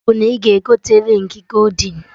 Iwu bụ na ị ga-egote rịng goldin!